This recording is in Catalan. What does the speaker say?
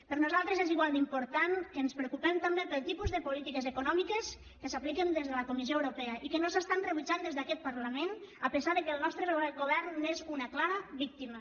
per nosaltres és igual d’important que ens preocupem també pel tipus de polítiques econòmiques que s’apliquen des de la comissió europea i que no s’estan rebutjant des d’aquest parlament a pesar que el nostre govern n’és una clara víctima